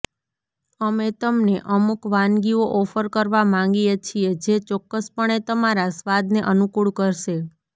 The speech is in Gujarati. અમે તમને અમુક વાનગીઓ ઓફર કરવા માંગીએ છીએ જે ચોક્કસપણે તમારા સ્વાદને અનુકૂળ કરશે